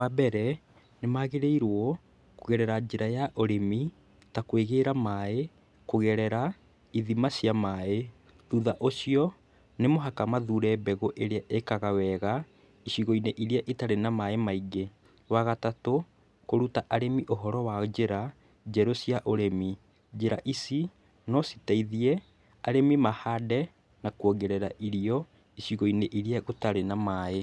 Wa mbere nĩmagĩrĩirwo kũgerera njĩra ya ũrĩmi ta kwĩgĩra maaĩ kũgerera ithima cia maaĩ. Thutha ũcio, nĩ mũhaka mathure mbegũ ĩrĩa ĩkaga wega icigo-inĩ iria itarĩ na maaĩ maingĩ. Wa gatatu, kũruta arĩmi ũhoro wa njĩra njerũ cia ũrĩmi. Njĩra ici no citeithie arĩmi mahande na kwongerera irio icigo-inĩ iria gũtarĩ na maaĩ.